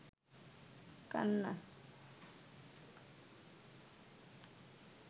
কান্না